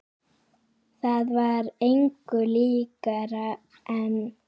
Það var engu líkara en